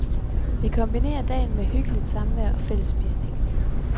Vi kombinerer dagen med hyggeligt samvær og fællesspisning.